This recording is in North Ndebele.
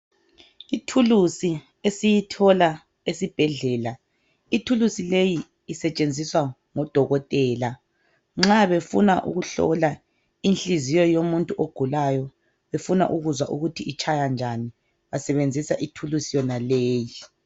Ithulusi esiyithola esibhedlela. Ithulusi leyi isetshenziswa ngodokotela nxa befuna ukuhlola inhliziyo yomuntu ogulayo befuna ukuzwa ukuthi itshaya njani basebenzisa ithulusi yonaleyi.